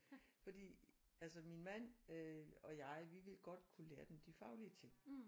Fordi altså min mand og jeg vi ville godt kunne lære dem de faglige ting